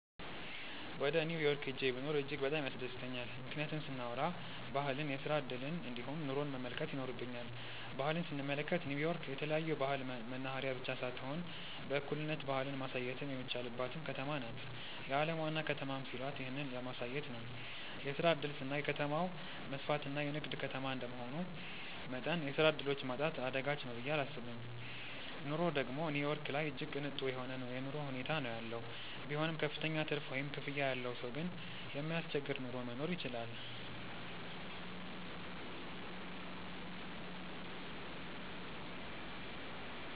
ወደ ኒው ዮርክ ሂጄ ብኖር እጅግ በጣም ያስደስተኛል። ምክንያቱን ስናዎራ ባህልን፣ የስራ እድልን እንዲሁም ኑሮን መመልከት ይኖርብኛል። ባህል ስንመለከት ኒው ዮርክ የተለያዮ ባህል መናህሬያ ብቻ ሳትሆን በእኩልነት ባህልን ማሳየትም የሚቻልባትም ከተማ ናት። የአለም ዋና ከተማም ሲሏት ይህንን ለማሳየት ነው። የስራ እድል ስናይ ከተማው መስፍትና የንግድ ከተማ እንደመሆኑ መጠን የስራ ዕድሎች ማጣት አዳጋች ነው ብየ እላስብም። ኑሮ ደግም ኒው ዮርክ ላይ እጅግ ቅንጡ የሆነ የኑሮ ሁኔታ ነው ያለው። ቢሆንም ክፍተኛ ትርፍ ወይም ክፍያ ያለው ሰው ግን የማያስቸግር ኑሮ መኖር ይችላል።